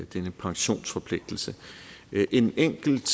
denne pensionsforpligtelse en enkelt